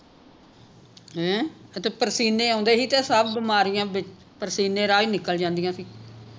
ਹੈਂ ਤੇ ਪਰਸੀਨੇ ਆਉਂਦੇ ਸੀ ਤੇ ਸਭ ਬਿਮਾਰੀਆਂ ਵਿਚ ਪਰਸੀਨੇ ਰਾਹ ਹੀ ਨਿਕਲ ਜਾਂਦੀਆਂ ਸੀ